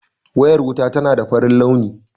Wuriyar wuta tana da farin launi